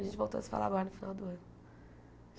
A gente voltou a se falar agora no final do ano.